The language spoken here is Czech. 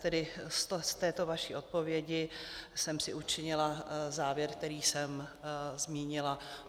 Tedy z této vaší odpovědi jsem si učinila závěr, který jsem zmínila.